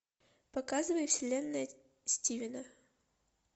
показывай вселенная стивена